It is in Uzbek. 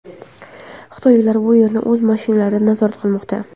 Xitoyliklar bu yerlarni o‘z mashinalarida nazorat qilmoqda.